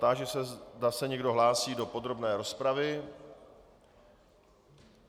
Táži se, zda se někdo hlásí do podrobné rozpravy.